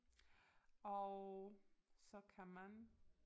Og så kan man